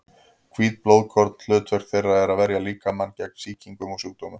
Hvít blóðkorn: hlutverk þeirra er að verja líkamann gegn sýkingum og sjúkdómum.